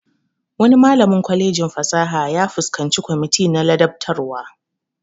Wani malamin kwalejin fasaha ya fuskanci kwamiti na ladabtarwa